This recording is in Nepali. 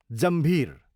जम्भीर